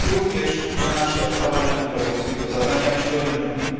Jest to również nasze Parlamentu Europejskiego zadanie, abyśmy o tym mówili.